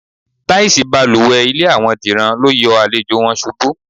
Táìsì balùwè ilé àwo̩n Dìran lo yo̩ àlejò̩ wo̩n s̩ubú.